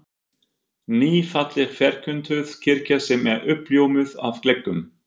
Ný, falleg ferköntuð kirkja sem er uppljómuð af gluggum